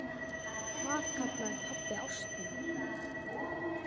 Það kallaði pabbi ástina.